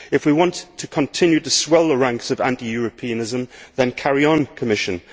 If we want to continue to swell the ranks of anti Europeanism, then carry on, Commission.